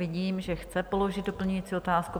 Vidím, že chce položit doplňující otázku.